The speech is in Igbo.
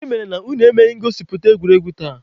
Gịnị mere na unu emeghị ngosipụta egwuregwu tata?